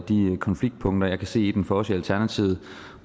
de konfliktpunkter jeg kan se i den for os i alternativet